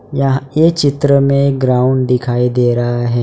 यहां ये चित्र में ग्राउंड दिखाई दे रहा है।